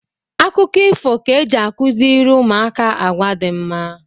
Akụkọ ifo ka eji akụziri ụmụaka agwa dị mma